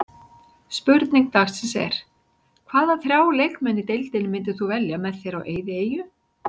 Spurning dagsins er: Hvaða þrjá leikmenn í deildinni myndir þú velja með þér á eyðieyju?